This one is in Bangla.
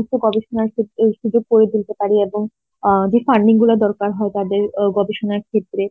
উচ্চ উপ গবেষণার ক্ষেত্রে সুযোগ করে তুলতে পারি এবং অ্যাঁ যে funding গুলোর দরকার হয় তাদের আহ গবেষণার ক্ষেত্রে